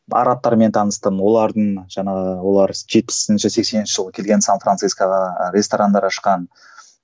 арабтармен таныстым олардың жаңағы олар жетпісінші сексенінші жылғы келген сан францискоға ресторандар ашқан